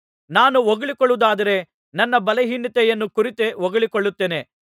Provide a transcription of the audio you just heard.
ನಾನು ಹೊಗಳಿಕೊಳ್ಳುವುದ್ದಾದರೆ ನನ್ನ ಬಲಹೀನತೆಯನ್ನು ಕುರಿತೆ ಹೊಗಳಿಕೊಳ್ಳುತ್ತೇನೆ